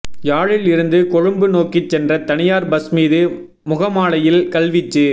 யாழில் இருந்து கொழும்பு நோக்கிச் சென்ற தனியார் பஸ் மீது முகமாலையில் கல் வீச்சு